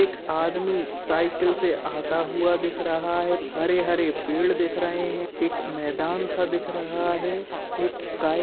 एक आदमी साईकिल से आता हुआ दिख रहा हैं। हरे-हरे पेड़ दिख रहे हैं। एक मैदान सा दिख रहा है। एक गाय --